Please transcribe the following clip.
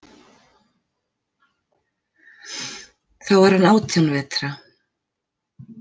Þá var hann átján vetra.